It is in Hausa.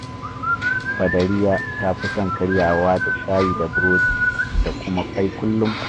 Badariya ta fi son karyawa da shayi da burodi da kuma ƙwai kullum